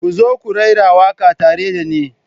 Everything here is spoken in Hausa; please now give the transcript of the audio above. Ku zo ku raira waƙa tare da ni.